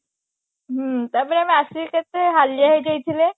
ହୁଁ ତାପରେ ଆସିକି ଆମେ କେତେ ହାଲିଆ ହେଇ ଯାଇଥିଲେ